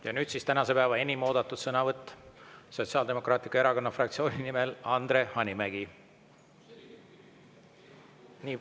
Ja nüüd siis tänase päeva enim oodatud sõnavõtt: Sotsiaaldemokraatliku Erakonna fraktsiooni nimel Andre Hanimägi.